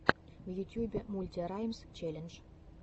в ютьюбе мульти раймс челлендж